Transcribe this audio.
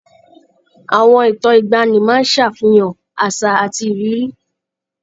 Àwọn ìtàn ìgbaanì máa ń ṣàfihàn àṣà àti ìrírí.